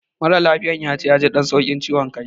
Mara lafiyar yace yaji ɗan sauƙin ciwan kai